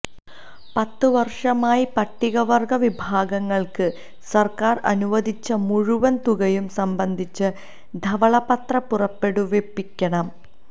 പത്ത് വര്ഷമായി പട്ടികവര്ഗ്ഗ വിഭാഗങ്ങള്ക്ക് സര്ക്കാര് അനുവദിച്ച മുഴുവന് തുകയും സംബന്ധിച്ച് ധവളപത്രം പുറപ്പെടുവിപ്പിക്കണം